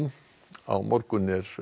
á morgun er